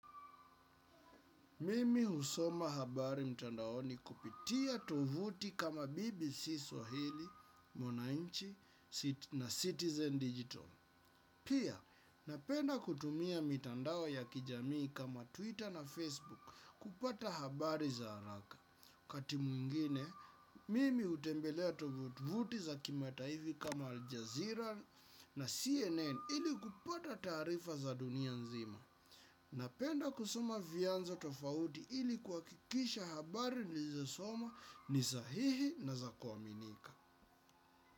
Mimi husoma habari mtandaoni kupitia tovuti kama BBC Swahili, Mwananchi na Citizen Digital. Pia, napenda kutumia mtandao ya kijamii kama Twitter na Facebook kupata habari za haraka. Kati mwingine, mimi hutembelea tovuti za kimataivi kama Aljazeera na CNN ili kupata taarifa za dunia nzima. Napenda kusoma vianzo tofauti ili kuhakikisha habari nilizosoma ni sahihi na za kuaminika.